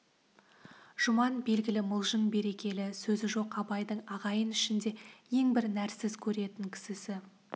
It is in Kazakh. жұман белгілі мылжың берекелі сөзі жоқ абайдың ағайын ішінде ең бір нәрсіз көретін кісісі